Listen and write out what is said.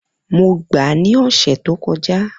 Mo gba ni ọsẹ to kọja.